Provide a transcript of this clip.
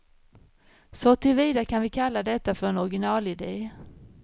Så till vida kan vi kalla detta för en originalidé.